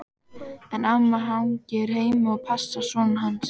En amma hangir heima og passar son hans.